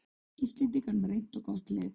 Íslendingar með reynt og gott lið